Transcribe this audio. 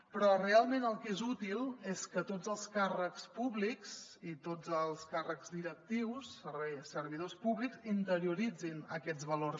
però realment el que és útil és que tots els càrrecs públics i tots els càrrecs directius servidors públics interioritzin aquests valors